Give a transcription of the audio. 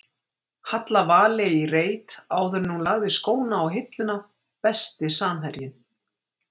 Halla Valey í reit áður en hún lagði skóna á hilluna Besti samherjinn?